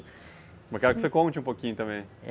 Eu quero que você conte um pouquinho também.